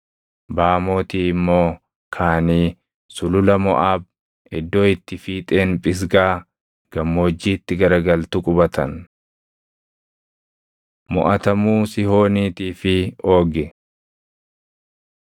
Baamootii immoo kaʼanii sulula Moʼaab, iddoo itti fiixeen Phisgaa gammoojjiitti garagaltu qubatan. Moʼatamuu Sihooniitii fi Oogi